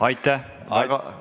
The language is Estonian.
Aitäh!